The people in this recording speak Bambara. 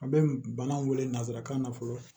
A bɛ bana wele nanzarakan na fɔlɔ